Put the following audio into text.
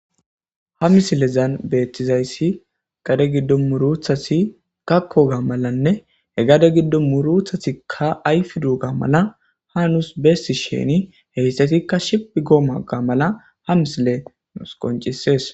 Ha misilezan beethtizayssi gade giddo muruthasi kakkoga malanne he gade giddo muruthasikka ayf duuga mala hanuus beessi sheni heyssatikka shiphi gooma ga mala ha misile nus qoncisees